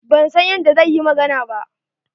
Ban san yadda zai yi magana ba.